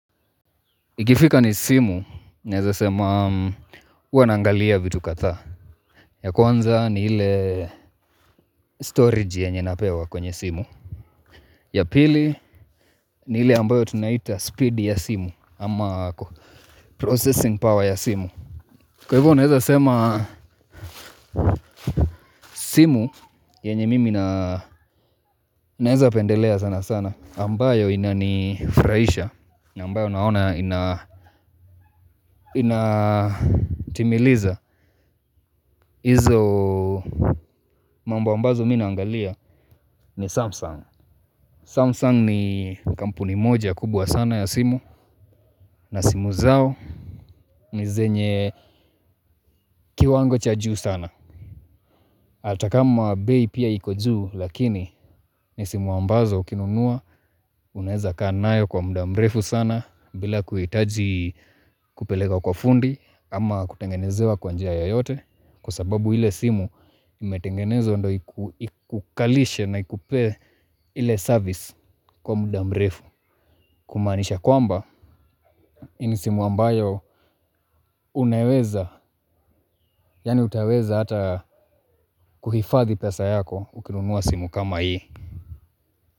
Ikifika ni simu, naweza sema huwa naangalia vitu kadhaa, ya kwanza ni ile 'storage' yenye napewa kwenye simu. Ya pili, ni ile ambayo tunaita spidi ya simu ama 'processing power' ya simu. Kwahivyo, naweza sema simu yenye mimi naweza pendelea sana sana ambayo inanifurahisha, ambayo naona inatimiliza. Izo mambo ambazo mi naangalia ni Samsung. Samsung ni kampuni moja kubwa sana ya simu. Na simu zao ni zenye kiwango cha juu sana. Hata kama bei pia iko juu, lakini ni simu ambazo ukinunua unaweza kaa nayo kwa mda mrefu sana bila kuhitaji kupeleka kwa fundi ama kutengenezewa kwa njia yoyote. Kwasababu ile simu imetengenezwa ndo ikukalishe na ikupe ile 'service' kwa muda mrefu. Kumaanisha kwamba, hii ni simu ambayo unaweza, yani utaweza hata kuhifadhi pesa yako ukinunua simu kama hii.